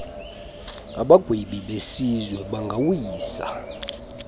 abagwebi besizwe bangawisa